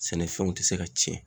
Sɛnɛfɛnw ti se ka cɛn.